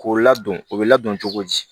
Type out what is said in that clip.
K'o ladon o bɛ ladon cogo di